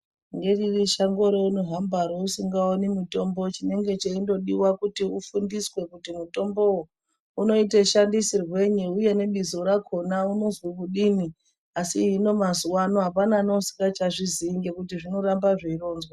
Ngeriri shango reuno hamba re usinga oni mutombo chinenge cheindo diwa kuti afundiswe kuti mutombo wo uno ite shandisirwenyi uye ne bizo rakona unozwi kudini asi hino mazuva ano apana nge uchingacha zviziyi ngekuti zvino ramba zvei ronzwa.